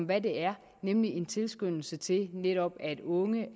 hvad det er nemlig en tilskyndelse til netop at unge